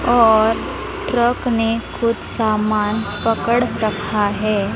और ट्रक ने कुछ सामान पकड़ रखा है।